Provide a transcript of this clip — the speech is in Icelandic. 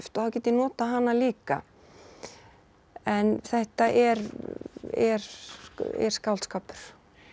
og þá get ég notað hana líka en þetta er er er skáldskapur